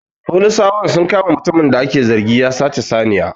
Folisawan sun kama mutumin da ake zargin ya sace saniya